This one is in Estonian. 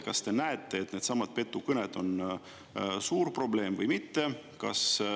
Kas te näete, et needsamad petukõned on suur probleem või mitte?